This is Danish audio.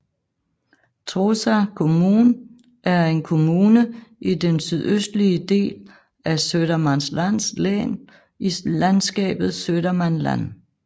Trosa kommun er en kommune i den sydøstlige del af Södermanlands län i landskabet Södermanland